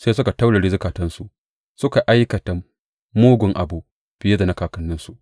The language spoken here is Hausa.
Sai suka taurare zukatansu suka aikata mugun abu fiye da na kakanninsu.’